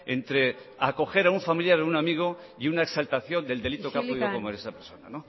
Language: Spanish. entre acoger a un familiar o un amigo y una exaltación del delito que ha podido cometer esa persona